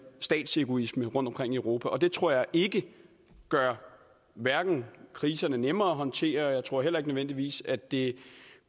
statsegoisme rundtomkring i europa det tror jeg ikke gør kriserne nemmere at håndtere og jeg tror heller ikke nødvendigvis at det